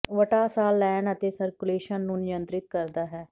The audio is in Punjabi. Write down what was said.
ਵਟਾ ਸਾਹ ਲੈਣ ਅਤੇ ਸਰਕੂਲੇਸ਼ਨ ਨੂੰ ਨਿਯੰਤ੍ਰਿਤ ਕਰਦਾ ਹੈ